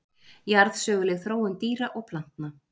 Jarðsöguleg þróun dýra og plantna.